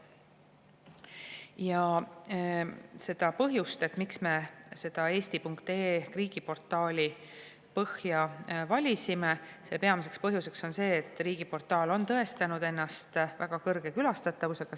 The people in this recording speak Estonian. Peamine põhjus, miks me eesti.ee riigiportaali põhja valisime, on see, et riigiportaal on tõestanud ennast väga kõrge külastatavusega.